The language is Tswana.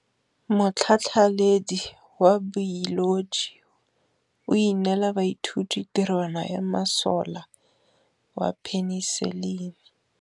Motlhatlhaledi wa baeloji o neela baithuti tirwana ya mosola wa peniselene.